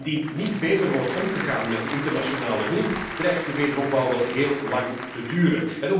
Indien niet beter wordt omgegaan met de internationale hulp dreigt de wederopbouw wel heel lang te duren.